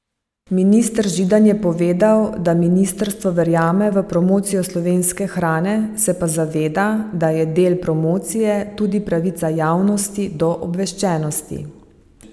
Minister Židan je povedal, da ministrstvo verjame v promocijo slovenske hrane, se pa zaveda, da je del promocije tudi pravica javnosti do obveščenosti.